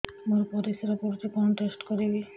ମୋର ପରିସ୍ରା ପୋଡୁଛି କଣ ଟେଷ୍ଟ କରିବି